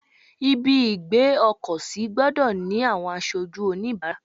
Ibi ìgbé ọkọ̀ sí gbọ́dọ̀ ni àwọn aṣojú onibaara.